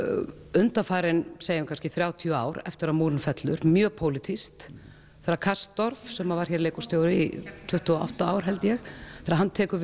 undanfarin segjum kannski þrjátíu ár eftir að múrinn fellur mjög pólitískt þegar sem var hér leikhússtjóri í tuttugu og átta ár held ég þegar hann tekur